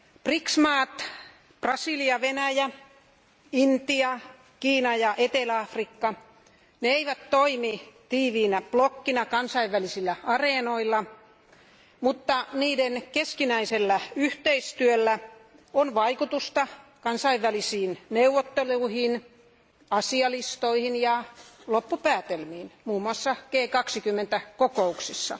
BRICS maat Brasilia, Venäjä, Intia, Kiina ja Etelä Afrikka eivät toimi tiiviinä blokkina kansainvälisillä areenoilla, mutta niiden keskinäisellä yhteistyöllä on vaikutusta kansainvälisiin neuvotteluihin, asialistoihin ja loppupäätelmiin, muun muassa G20 kokouksissa.